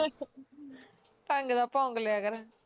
ਢੰਗ ਦਾ ਭੋਂਕ ਲਿਆ ਕਰ